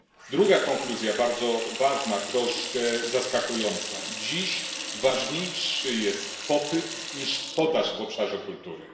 Druga konkluzja, bardzo ważna, troszkę zaskakująca dziś ważniejszy jest popyt niż podaż w obszarze kultury.